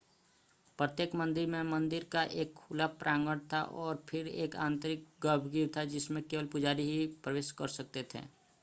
प्रत्येक मंदिर में मंदिर का एक खुला प्रांगण था और फिर एक आंतरिक गर्भगृह था जिसमें केवल पुजारी ही प्रवेश कर सकते थे